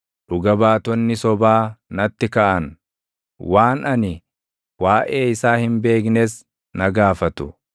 Dhuga baatonni sobaa natti kaʼan; waan ani waaʼee isaa hin beeknes na gaafatu.